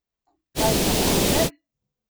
Kaj pa barve?